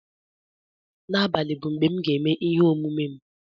N'abalị bụ mgbe m ga-eme ihe omume m